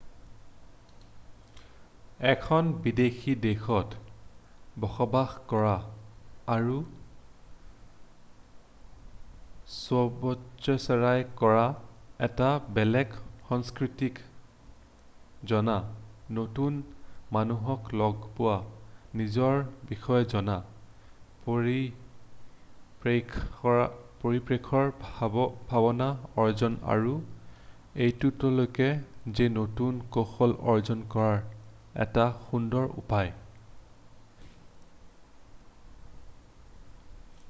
এখন বিদেশী দেশত বসবাস কৰা আৰু স্বচ্ছাসেৱী কৰা এটা বেলেগ সংস্কৃতিক জনা নতুন মানুহক লগ পোৱা নিজৰ বিষয়ে জনা পৰিপ্ৰেক্ষৰ ভাৱনা অৰ্জন আৰু এইটোলৈকে যে নতুন কৌশল অৰ্জন কৰাৰ এটা সুন্দৰ উপায় ।